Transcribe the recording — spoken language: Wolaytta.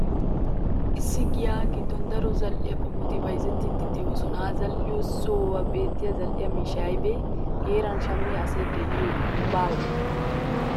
Issi giyaa giddon daro zal'e qommoti bayzzettiiddi de'oosona ha zal'iyo sohuwan beettiya zal'e miishshay aybay? Heeran shammiya asay de'iiyye baawee?